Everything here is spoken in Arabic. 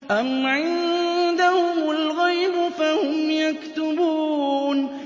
أَمْ عِندَهُمُ الْغَيْبُ فَهُمْ يَكْتُبُونَ